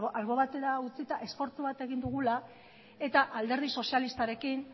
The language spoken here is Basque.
albo batera utzita esfortzu bat egin dugula eta alderdi sozialistarekin